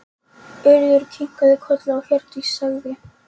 Urður kinkaði kolli og Hjördís sagði